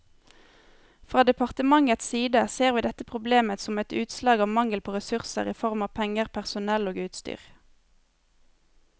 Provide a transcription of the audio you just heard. Fra departementets side ser vi dette problemet som et utslag av mangel på ressurser i form av penger, personell og utstyr.